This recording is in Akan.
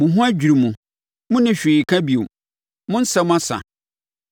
“Mo ho adwiri mo, monni hwee ka bio; mo nsɛm asa.